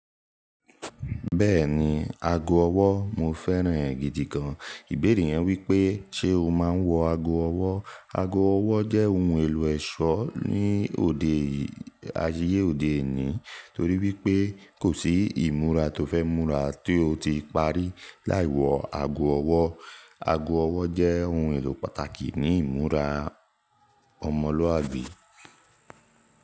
Bẹ́ẹ̀ni, ago ọwọ́ mo fẹ́ràn e gidi gan. Ìbéèrè yen wípé ṣe o máa ń wọ ago ọwọ́? Ago ọwọ́ jẹ́ ohun èlò ẹ̀ṣọ́ ní òde yìí, ayé òde òní torí wípé kò sí ìmúra to fẹ́ múra tí ó ti parí lai wọ ago ọwọ́. Ago ọwọ́ jẹ́ ohun èlò pàtàkì ní ìmúra ọmọlúàbí.